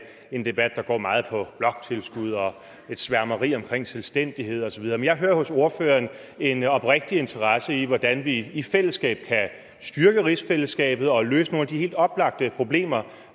en debat der går meget på bloktilskud og et sværmeri omkring selvstændighed og så videre men jeg hører hos ordføreren en oprigtig interesse i hvordan vi i fællesskab kan styrke rigsfællesskabet og løse nogle af de helt oplagte problemer